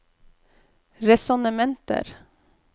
resonnementer